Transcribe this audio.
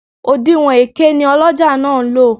Òdinwọ̀n èké ni ọlọ́jà náà ń lò